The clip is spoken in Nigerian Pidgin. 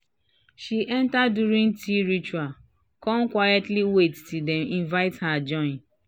she enter during tea ritual kan quietly wait till dem invite her join.